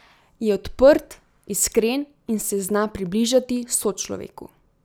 Je odprt, iskren in se zna približati sočloveku.